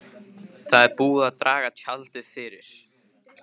Það er búið að draga tjaldið fyrir.